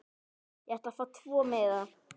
Ég ætla að fá tvo miða.